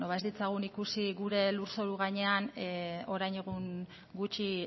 beno ez ditzagun ikusi gure lurzoru gainean orain egun gutxi